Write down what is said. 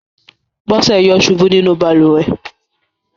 Bọ́sẹ̀ yọ̀ ṣubú nínú balùwẹ̀.